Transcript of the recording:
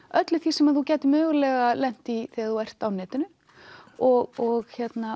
öllu því sem þú gætir mögulega lent í þegar þú ert á netinu og